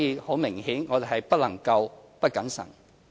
很明顯，我們不能夠不謹慎。